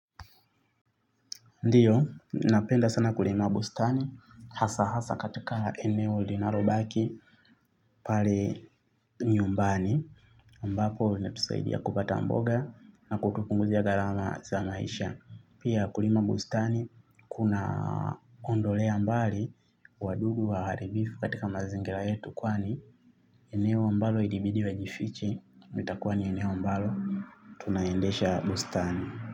Ndiyo, napenda sana kulima bustani hasaa hasaa katika eneo linalobaki pale nyumbani ambapo inatusaidia kupata mboga na kutupunguzia gharama za maisha. Pia kulima bustani kunaondolea mbali wadudu waharibifu katika mazingira yetu kwani eneo ambalo ilibidi wajifiche litakuwa ni eneo ambalo tunaendesha bustani.